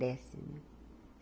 Desce